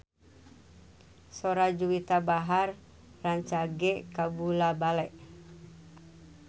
Sora Juwita Bahar rancage kabula-bale